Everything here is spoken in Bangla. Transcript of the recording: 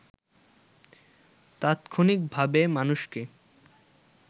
তাৎক্ষণিক ভাবে মানুষকে